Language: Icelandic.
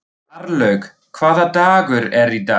Marlaug, hvaða dagur er í dag?